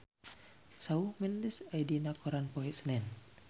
Shawn Mendes aya dina koran poe Senen